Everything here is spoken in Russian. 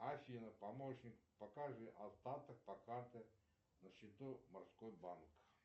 афина помощник покажи остаток по карте на счету морской банк